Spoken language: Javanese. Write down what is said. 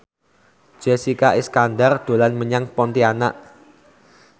Jessica Iskandar dolan menyang Pontianak